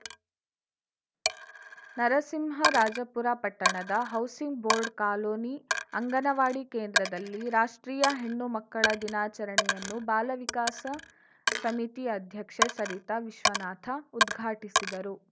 ನರಸಿಂಹರಾಜಪುರ ಪಟ್ಟಣದ housing board colony anganwadi ಕೇಂದ್ರದಲ್ಲಿ ರಾಷ್ಟ್ರೀಯ ಹೆಣ್ಣು ಮಕ್ಕಳ ದಿನಾಚರಣೆಯನ್ನು ಬಾಲ ವಿಕಾಸ ಸಮಿತಿ ಅಧ್ಯಕ್ಷೆ ಸರಿತಾ ವಿಶ್ವನಾಥ ಉದ್ಘಾಟಿಸಿದರು